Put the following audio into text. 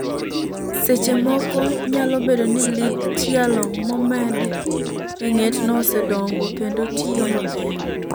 Seche moko, nyalo bedo ni lith tielo momed e ng'etno osedongo kendo tiyo maber.